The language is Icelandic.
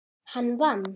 Hann vann.